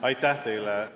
Aitäh teile!